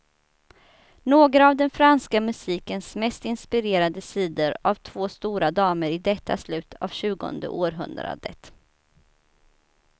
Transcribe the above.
Några av den franska musikens mest inspirerade sidor av två stora damer i detta slut av tjugonde århundradet.